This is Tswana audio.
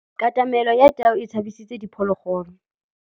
Katamêlô ya tau e tshabisitse diphôlôgôlô.